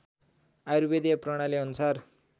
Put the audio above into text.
आयुर्वेदीय प्रणाली अनुसार